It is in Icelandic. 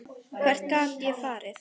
Hvert gat ég farið?